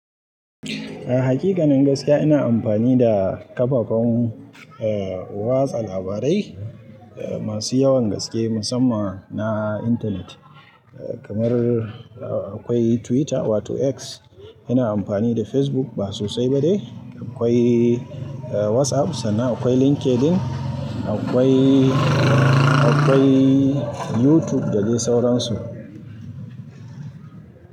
A hakikanin gaskiya ina amfani da kafafen, eh, watsa labarai masu yawan gaske musamman na intanet kamar akwai Twitter wato X. Ina amfani da Facebook ba sosai ba dai. Akwai WhatsApp sannan akwai Linkedin. Akwai, akwai YouTube da dai sauransu.